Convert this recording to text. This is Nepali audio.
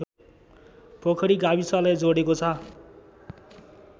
पोखरी गाविसलाई जोडेको छ